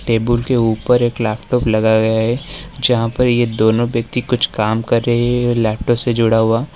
Table के ऊपर एक लैपटॉप लगाया गया है जहां पर ये दोनों व्यक्ति कुछ काम कर रहे हैं लैपटॉप से जुड़ा हुआ।